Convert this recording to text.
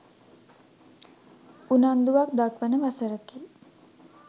උනන්දුවක් දක්වන වසරකි.